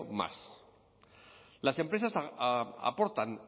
más las empresas aportan